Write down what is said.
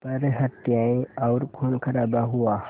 पर हत्याएं और ख़ूनख़राबा हुआ